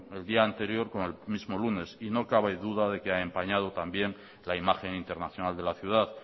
el día anterior como el mismo lunes y no cabe duda de que ha empañado también la imagen internacional de la ciudad